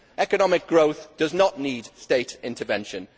Economic growth does not need state intervention.